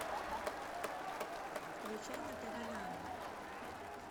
включай на тв нано